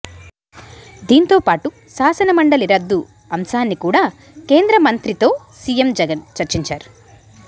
దీంతో పాటు శాసనమండలి రద్దు అంశాన్ని కూడా కేంద్రమంత్రితో సీఎం జగన్ చర్చించారు